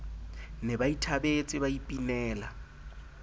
ne ba ithabetse ba ipinela